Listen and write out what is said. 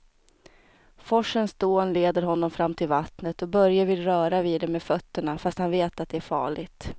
Forsens dån leder honom fram till vattnet och Börje vill röra vid det med fötterna, fast han vet att det är farligt.